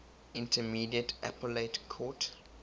intermediate appellate court